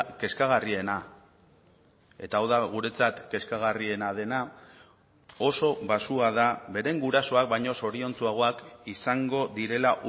kezkagarriena eta hau da guretzat kezkagarriena dena oso baxua da beren gurasoak baino zoriontsuagoak izango direla